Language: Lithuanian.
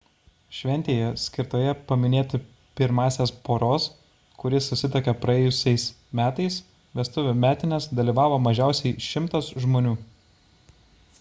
šventėje skirtoje paminėti pirmąsias poros kuri susituokė praėjusiais metais vestuvių metines dalyvavo mažiausiai 100 žmonių